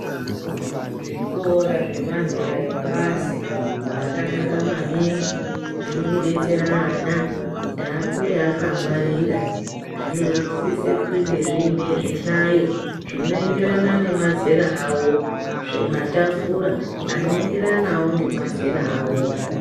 Zvikora zvemazera epasi zvakanaka maningi, zvirikudetsera ana kuti akure akangwarira. Zvinosise kunge zviine zvihlayo zvinoenderana nemazera avo, nezvimatafura, anoenderanawo ngemazera avo.